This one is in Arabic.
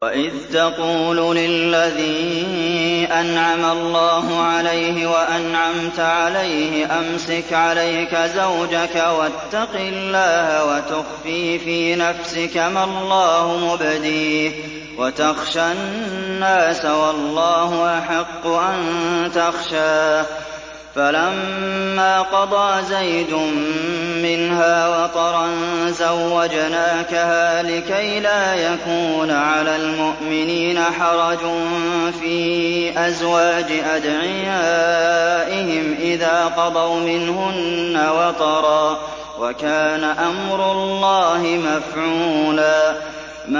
وَإِذْ تَقُولُ لِلَّذِي أَنْعَمَ اللَّهُ عَلَيْهِ وَأَنْعَمْتَ عَلَيْهِ أَمْسِكْ عَلَيْكَ زَوْجَكَ وَاتَّقِ اللَّهَ وَتُخْفِي فِي نَفْسِكَ مَا اللَّهُ مُبْدِيهِ وَتَخْشَى النَّاسَ وَاللَّهُ أَحَقُّ أَن تَخْشَاهُ ۖ فَلَمَّا قَضَىٰ زَيْدٌ مِّنْهَا وَطَرًا زَوَّجْنَاكَهَا لِكَيْ لَا يَكُونَ عَلَى الْمُؤْمِنِينَ حَرَجٌ فِي أَزْوَاجِ أَدْعِيَائِهِمْ إِذَا قَضَوْا مِنْهُنَّ وَطَرًا ۚ وَكَانَ أَمْرُ اللَّهِ مَفْعُولًا